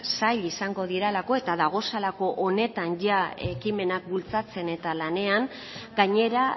sail izango direlako eta dagozalako honetan ekimenak bultzatzen eta lanean gainera